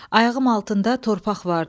Ayağım altında torpaq vardı.